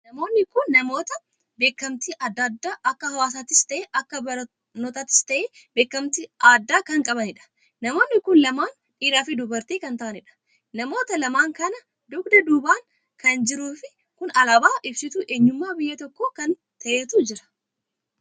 Namoonni kun namoota beekamtii addaa addaa akka hawaasaattis tahe, akka barnootaattis tahe beekamtii addaa kan qabaniidha. namoonni kun lamaan dhiiraa Fi dubartii kan tahaaniidha. namoota lamaan kana dugda duubaan kan jiru kun alaabaa ibsituu eenyummaa biyya tokkoo kan taheetu jira.